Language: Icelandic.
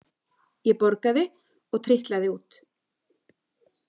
Ég borgaði og trítlaði út.